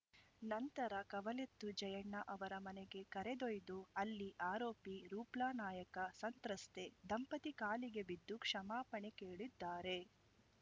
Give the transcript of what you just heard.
ನಂತರ ಕವಲೆತ್ತು ಜಯಣ್ಣ ಅವರ ಮನೆಗೆ ಕರೆದೊಯ್ದು ಅಲ್ಲಿ ಆರೋಪಿ ರೂಪ್ಲಾನಾಯ್ಕ ಸಂತ್ರಸ್ತೆ ದಂಪತಿ ಕಾಲಿಗೆ ಬಿದ್ದು ಕ್ಷಮಾಪಣೆ ಕೇಳಿದ್ದಾರೆ